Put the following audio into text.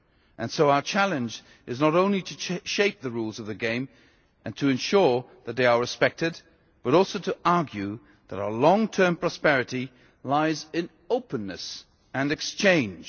And so our challenge is not only to shape the rules of the game and to ensure that they are respected, but also to argue that our long term prosperity lies in openness and exchange.